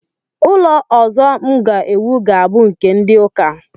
Ụlọ ọzọ m ga-ewu ga-abụ nke ndị ụka